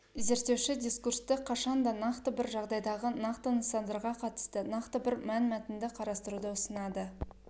зерттеуші дискурсты қашанда нақты бір жағдайдағы нақты нысандарға қатысты нақты бір мәнмәтінде қарастыруды ұсынады